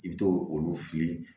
I bɛ t'o olu f'i ye